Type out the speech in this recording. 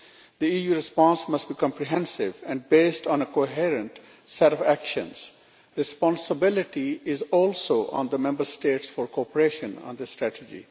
The EU's response must be comprehensive and based on a coherent set of actions. Responsibility also rests with the Member States for cooperation on the strategy.